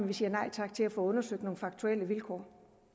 vi siger nej tak til at få undersøgt nogle faktuelle vilkår